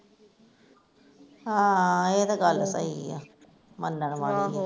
ਹਾ ਏਹ ਤੇ ਗੱਲ ਸਹੀ ਆ, ਮੰਨਣ ਵਾਲੇ ਐ ਆਹ